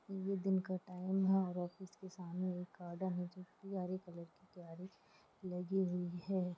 ये दिन का टाइम है और ऑफिस के समाने एक ओडा हैजो की हरे कॉलर की लगी हुए है।